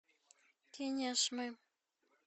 кинешмы